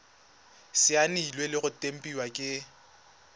saenilwe le go tempiwa ke